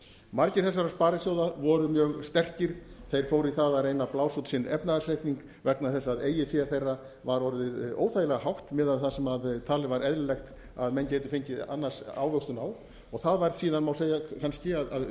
margir þessara sparisjóða voru mjög sterkir þeir fóru í það að reyna að blása út sinn efnahagsreikning vegna þess að eigið fé þeirra var orðið óþægilega hátt miðað við það sem var talið eðlilegt að menn gætu fengið annars ávöxtun á það var síðan má segja kannski